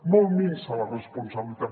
molt minsa la responsabilitat